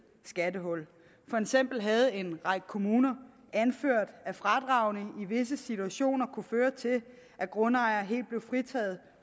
skattehul for eksempel havde en række kommuner anført at fradragene i visse situationer kunne føre til at grundejere helt blev fritaget